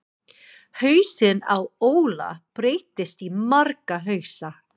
Hausinn á Óla breytist í marga hausa.